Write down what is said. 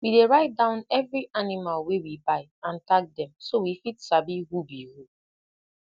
we dey write down every animal wey we buy and tag dem so we fit sabi who be who